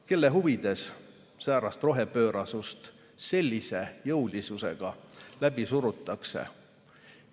Kelle huvides säärast rohepöörasust sellise jõulisusega läbi surutakse?